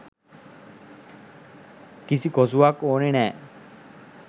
කිසි කොසුවක් ඕනේ නැහැ.